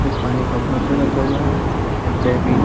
एक पानी का बोटर रखा हुआ है बैबी --